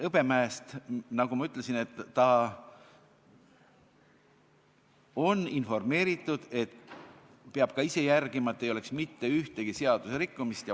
Hõbemäge, nagu ma ütlesin, on informeeritud, et ta peab ka ise jälgima, et tal ei oleks mitte ühtegi seaduserikkumist.